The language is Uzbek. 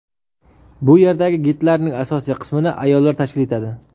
Bu yerdagi gidlarning asosiy qismini ayollar tashkil etadi.